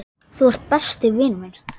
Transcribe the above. Þú ert besti vinur minn.